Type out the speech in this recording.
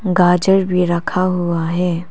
गाजर भी रखा हुआ है।